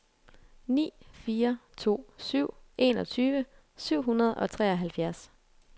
ni fire to syv enogtyve syv hundrede og treoghalvfjerds